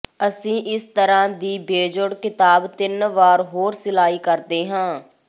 ਅਸੀਂ ਇਸ ਤਰ੍ਹਾਂ ਦੀ ਬੇਜੋੜ ਕਿਤਾਬ ਤਿੰਨ ਵਾਰ ਹੋਰ ਸਿਲਾਈ ਕਰਦੇ ਹਾਂ